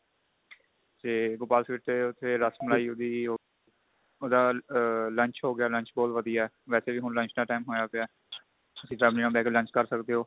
ਤੇ Gopal sweet ਤੇ ਉੱਥੇ ਰਸ ਮਲਾਈ ਉਹਦੀ ਉਹਦਾ lunch ਹੋ ਗਿਆ lunch ਬਹੁਤ ਵਧੀਆ ਵੈਸੇ ਵੀ ਹੁਣ lunch ਦਾ time ਹੋਇਆ ਪਿਆ ਤੁਸੀਂ family ਨਾਲ ਬੈਕੇ lunch ਕਰ ਸਕਦੇ ਓ